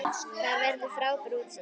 Þar verður frábært útsýni.